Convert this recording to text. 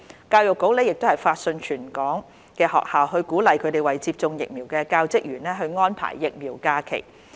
教育局亦發信全港學校鼓勵他們為接種疫苗的教職員安排疫苗假期。